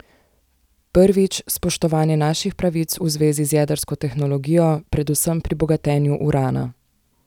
Prvič, spoštovanje naših pravic v zvezi z jedrsko tehnologijo, predvsem pri bogatenju urana.